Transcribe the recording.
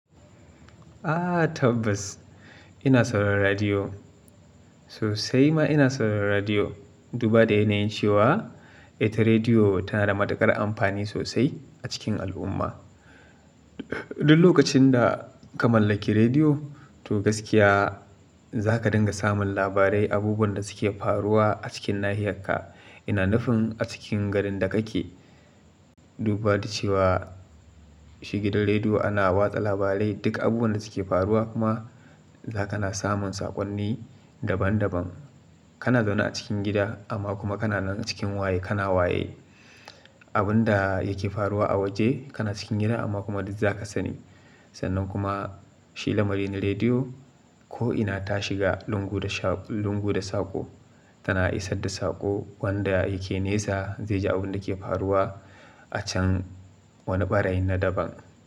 A tabbas ina saurara radiyo sosai ma ina sauraran radiyo. Duba da yanayin cewa ita rediyo tana da matuƙar amfani sosai a cikin al'umma. Duk lokacin da ka mallaki rediyo, to gaskiya za ka dinga samun labarai, abubuwan da suke faruwa a cikin nahiyarka ina nufin a cikin garin da kake. Duba da cewa shi gidan rediyo ana watsa labarai, duk abubuwan da suke faruwa kuma za ka na samun saƙonni daban daban. Kana zaune a cikin gida amma kuma kana nan a cikin waye kana waye. Abun da yake faruwa a waje kana cikin gida amma kuma duk za ka sani. Sannan kuma shi lamarin na rediyo ko'ina ta shiga lungu da sha lungu da sako tana isar da sako wanda yake nesa zai ji abun da yake faruwa a can wani barayi na daban.